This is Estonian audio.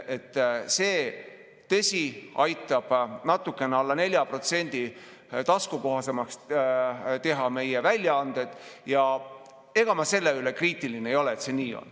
Tõsi, see aitaks natukene alla 4% taskukohasemaks teha meie väljaandeid ja ega ma selle suhtes kriitiline ei ole, et see nii on.